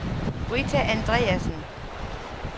Britta Andreasen